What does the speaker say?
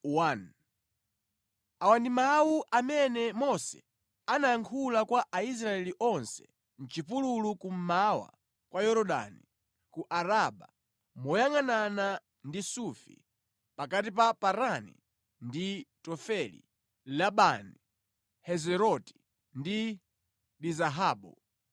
Awa ndi mawu amene Mose anayankhula kwa Aisraeli onse mʼchipululu kummawa kwa Yorodani, ku Araba moyangʼanana ndi Sufi, pakati pa Parani ndi Tofeli, Labani, Heziroti ndi Dizahabu.